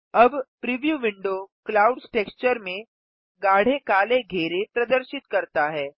अब preview window clouds texture में गाढ़े काले घेरे प्रदर्शित करता है